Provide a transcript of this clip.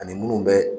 Ani minnu bɛ